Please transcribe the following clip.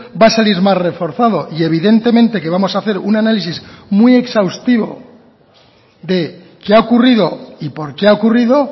va a salir más reforzado y evidentemente que vamos a hacer un análisis muy exhaustivo de qué ha ocurrido y por qué ha ocurrido